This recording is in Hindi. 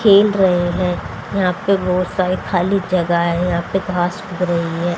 खेल रहे हैं यहां पे बहोत सारे खाली जगह है यहां पे घास उग रही है।